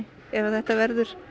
ef þetta verður